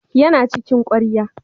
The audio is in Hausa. Yana cikin ƙwarya.